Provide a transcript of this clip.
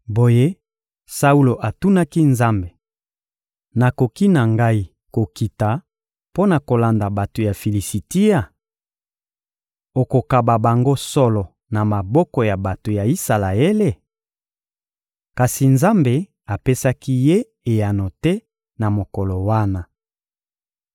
Boye Saulo atunaki Nzambe: «Nakoki na ngai kokita mpo na kolanda bato ya Filisitia? Okokaba bango solo na maboko ya bato ya Isalaele?» Kasi Nzambe apesaki ye eyano te na mokolo wana.